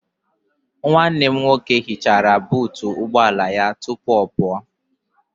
Nwanne m nwoke hichara buutu ụgbọala ya tupu ọ pụọ.